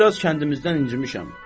Mən biraz kəndimizdən incimişəm.